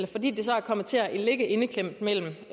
fordi det så er kommet til at ligge indeklemt mellem